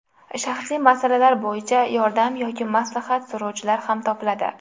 Shaxsiy masalalar bo‘yicha yordam yoki maslahat so‘rovchilar ham topiladi.